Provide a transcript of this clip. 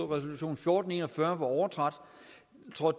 resolution fjorten en og fyrre var overtrådt